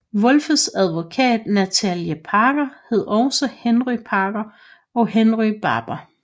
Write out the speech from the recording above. Wolfes advokat Nathaniel Parker hed også Henry Parker og Henry Barber